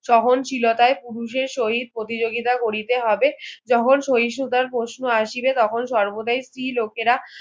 সহনশীলতায় পুরুষের সহিত প্রতিযোগিতা করিতে হবে যখন সহিষ্ণুতার প্রশ্ন আসিবে তখন সর্বদায় স্ত্রীলোকেরা